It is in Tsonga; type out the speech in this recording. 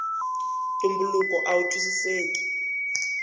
ntumbuluko awu twisiseki